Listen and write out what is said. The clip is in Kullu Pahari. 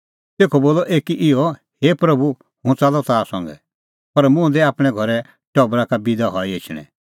तेखअ बोलअ एकी इहअ हे प्रभू हुंह च़ाल्लअ ताह संघै पर मुंह दै आपणैं घरै टबरा का बिदा हई एछणैं